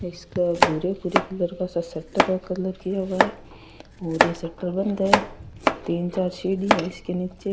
इसे भूरे भूरे कलर का संतरा कलर किया हुआ है और यह शटर बंद है तीन चार सीडी है इसके निचे।